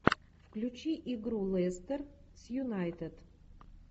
включи игру лестер с юнайтед